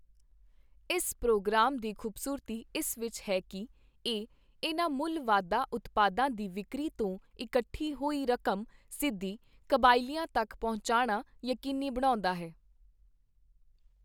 ਇਸ ਪ੍ਰੋਗਰਾਮ ਦੀ ਖ਼ੂਬਸੂਰਤੀ ਇਸ ਵਿੱਚ ਹੈ ਕਿ, ਇਹ ਇਨ੍ਹਾਂ ਮੁੱਲ ਵਾਧਾ ਉਤਪਾਦਾਂ ਦੀ ਵਿਕਰੀ ਤੋਂ ਇਕੱਠੀ ਹੋਈ ਰਕਮ ਸਿੱਧੀ ਕਬਾਇਲਿਆਂ ਤੱਕ ਪਹੁੰਚਾਉਣਾ ਯਕੀਨੀ ਬਣਾਉਂਦਾ ਹੈ।